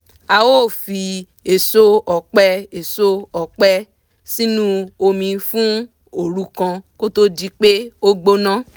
a ó fi èso ọ̀pẹ èso ọ̀pẹ sínú omi fún òru kan kó tó di pé ó gbóná